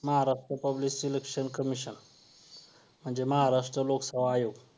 Maharashtra public selection commission म्हणजे महाराष्ट्र लोकसेवा अयोग